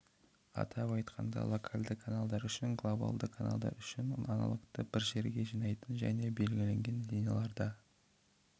атап айтқанда локальды каналдар үшін глобалды каналдар үшін аналогты бір жерге жинайтын және белгіленген линияларда